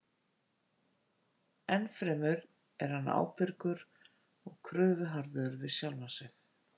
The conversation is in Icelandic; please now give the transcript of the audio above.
Ennfremur er hann ábyrgur og kröfuharður við sjálfan sig.